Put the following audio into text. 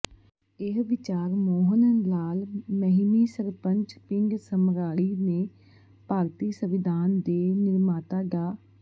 ਇਹ ਵਿਚਾਰ ਮੋਹਣ ਲਾਲ ਮਹਿਮੀ ਸਰਪੰਚ ਪਿੰਡ ਸਮਰਾੜੀ ਨੇ ਭਾਰਤੀ ਸੰਵਿਧਾਨ ਦੇ ਨਿਰਮਾਤਾ ਡਾ